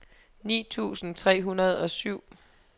ni tusind tre hundrede og syv